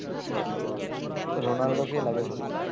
রোলান্ডোকেই লাগে ভালো